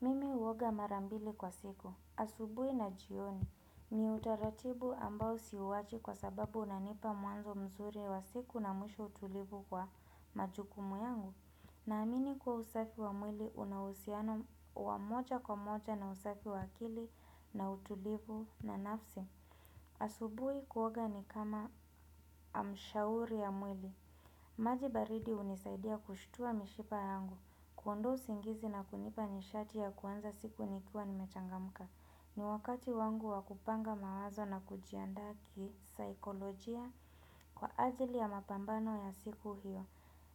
Mimi huoga mara mbili kwa siku. Asubuhi na jioni. Ni utaratibu ambao siuwachi kwa sababu unanipa mwanzo mzuri wa siku na mwisho utulivu kwa majukumu yangu. Naamini kwa usafi wa mwili una uhusiano wa moja kwa moja na usafi wa akili na utulivu na nafsi. Asubuhi kuoga ni kama amshauri ya mwili. Maji baridi hunisaidia kushtua mishipa yangu. Kuondoa usingizi na kunipa nishati ya kuanza siku nikiwa nimechangamka. Ni wakati wangu wa kupanga mawazo na kujiandaa kisaikolojia kwa ajili ya mapambano ya siku hiyo.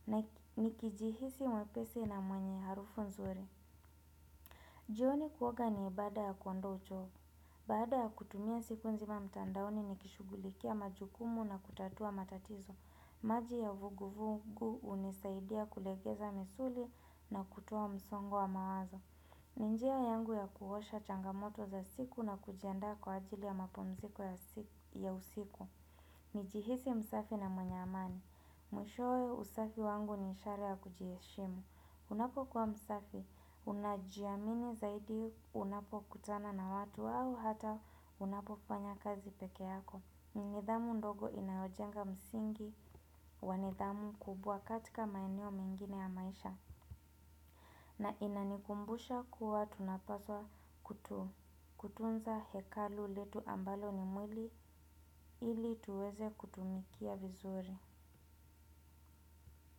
Na nikijihisi mwepesi na mwenye harufu nzuri. Jioni kuoga ni ibada ya kuondoa uchovu. Baada ya kutumia siku nzima mtandaoni nikishughulikia majukumu na kutatua matatizo. Maji ya vuguvugu hunisaidia kulegeza misuli na kutoa msongo wa mawazo. Ni njia yangu ya kuosha changamoto za siku na kujiandaa kwa ajili ya mapumziko ya usiku. Nijihisi msafi na mwenye amani. Mwishowe usafi wangu ni ishara ya kujiheshimu. Unapokuwa msafi, unajiamini zaidi unapokutana na watu au hata unapofanya kazi peke yako. Nidhamu ndogo inayojenga msingi wa nidhamu kubwa katika maeneo mengine ya maisha na inanikumbusha kuwa tunapaswa kutunza hekalu letu ambalo ni mwili ili tuweze kutumikia vizuri.